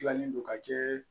Gilannen don ka jɛ